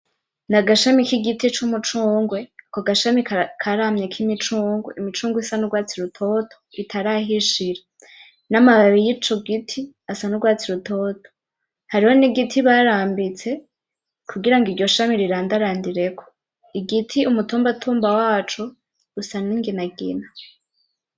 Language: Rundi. Nagashami k'igiti cy'umucungwe, ako gashami karamye kimicungwe. Imicungwe isa n'urwatsi rutoto ritarahishira. N’amababi y'ico giti asa n'urwatsi rutoto. Hariho n’igiti barambitse kugira ngo iryo shami rirandarandireko. Igiti, umutumbatumba waco, usa n'inginangina.